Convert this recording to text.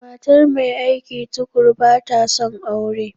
Matar mai aiki tuƙuru ba ta son aure.